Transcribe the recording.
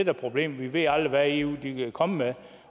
er problemet vi ved aldrig hvad eu vil komme med